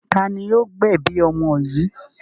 Ta ni yóò gbẹ̀bi ọmọ yìí?